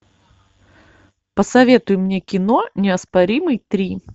посоветуй мне кино неоспоримый три